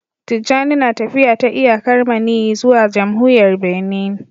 Tijjani na tafiya ta iyakar maniyyi zuwa jamhuriyar Benin